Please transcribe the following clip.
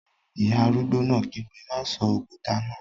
Ìyá arúgbó náà kígbe, "má sọ òkúta náà!"